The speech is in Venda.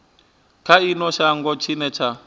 kha ino shango tshine tsha